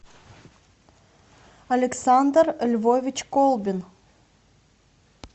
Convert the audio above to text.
александр львович колбин